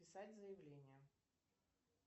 писать заявление